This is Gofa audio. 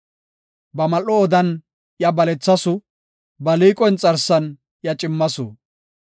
Ba mal7o odan iya balethasu; ba liiqo inxarsan iya cimmasu.